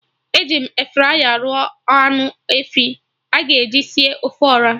Eji m Efraya rụọ anụ efi a ga-eji sie ofe Ọra